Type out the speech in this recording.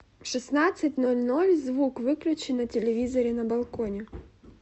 в шестнадцать ноль ноль звук выключи на телевизоре на балконе